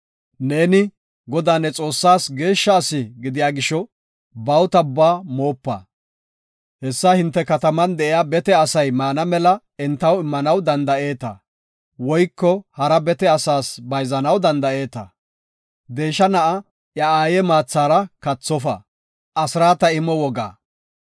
Neeni, Godaa ne Xoossaas geeshsha asi gidiya gisho, bawuta ubbaa moopa. Hessa hinte kataman de7iya bete asay maana mela entaw immanaw danda7eeta; woyko hara biitta asas bayzanaw danda7eeta. Deesha na7a iya aaye maathara kathofa.